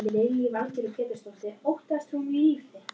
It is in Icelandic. Þegar hún var sofnuð fór hann fram í stofu.